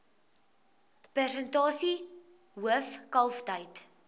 persentasie hoof kalftyd